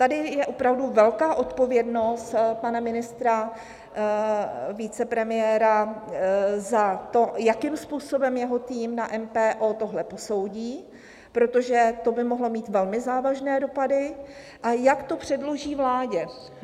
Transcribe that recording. Tady je opravdu velká odpovědnost pana ministra, vicepremiéra za to, jakým způsobem jeho tým na MPO tohle posoudí, protože to by mohlo mít velmi závažné dopady, a jak to předloží vládě.